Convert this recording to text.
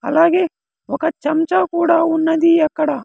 అలాగే ఒక చంచా కూడా ఉన్నది అక్కడ.